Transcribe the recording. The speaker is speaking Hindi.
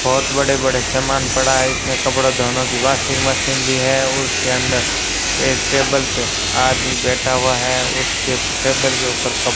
बहुत बड़े बड़े सामान पड़ा है इसमें कपड़े धोनों की वाशिंग मशीन भी है और उसके अंदर एक टेबल पे आदमी बैठा हुआ है उसके टेबल के ऊपर क --